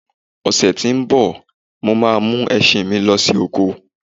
Ọ̀sè tí ń bọ̀, mo ma mú ẹṣin mí lọ oko